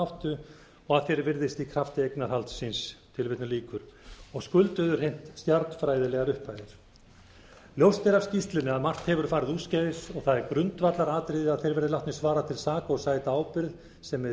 áttu og að því er virðist í krafti eignarhaldsins og skulduðu hreint jarðfræðilegar upphæðir ljóst er af skýrslunni að margt hefur farið úrskeiðis og það er grundvallaratriði að þeir verði látnir svara til saka og sæta ábyrgð sem með